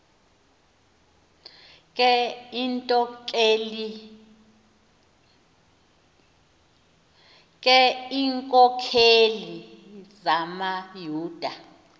ke iinkokeli zamayuda